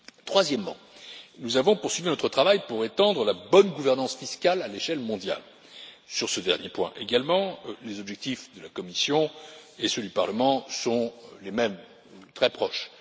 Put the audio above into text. Troisièmement, nous avons poursuivi notre travail pour étendre la bonne gouvernance fiscale à l'échelle mondiale. Sur ce dernier point également, les objectifs de la Commission et ceux du Parlement sont les mêmes, ou très proches.